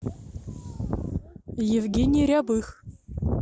евгений рябых